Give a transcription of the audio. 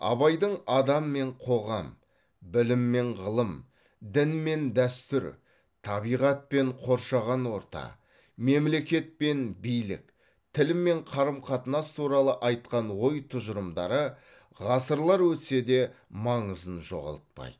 абайдың адам мен қоғам білім мен ғылым дін мен дәстүр табиғат пен қоршаған орта мемлекет пен билік тіл мен қарым қатынас туралы айтқан ой тұжырымдары ғасырлар өтсе де маңызын жоғалтпайды